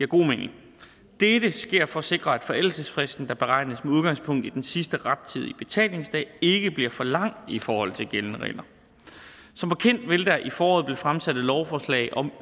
god mening dette sker for at sikre at forældelsesfristen der beregnes med udgangspunkt i den sidste rettidige betalingsdag ikke bliver for lang i forhold til de gældende regler som bekendt vil der i foråret blive fremsat et lovforslag om